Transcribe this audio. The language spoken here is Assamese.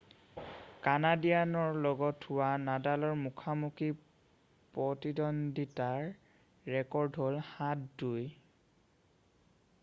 কানাডীয়ানৰ লগত হোৱা নাডালৰ মুখামুখি প্ৰতিদন্দ্বিতাৰ ৰেকৰ্ড হ'ল 7-2